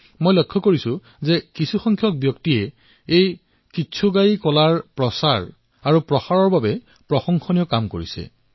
মই দেখিবলৈ পাইছো যে বহু লোকে সাধু কোৱাৰ কলাক আগুৱাই লৈ যোৱাৰ বাবে প্ৰশংসনীয় পদ্ধতি পালন কৰিছে